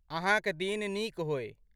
अहाँक दिन नीक होअए।